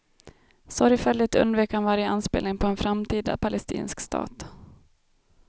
Sorgfälligt undvek han varje anspelning på en framtida palestinsk stat.